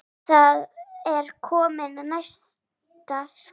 Það er vonandi næsta skref